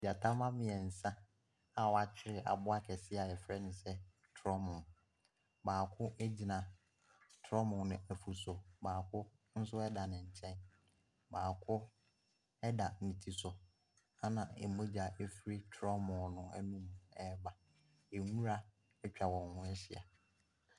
Gyata mma mmeɛnsa a wɔakyere aboa kɛseɛ a wɔfrɛ no sɛ torɔmo. Baako gyina torɔmu no afu so. Baako nso da ne nkyɛn. Baako da ne ti so na mogya firi torɔmo no anum reba. Nwura atwa wɔn ho ahyia.